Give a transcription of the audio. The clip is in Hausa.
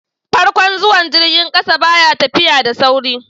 farkon zuwan jirgin ƙasa ba ya tafiya da sauri